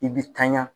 I bɛ tanya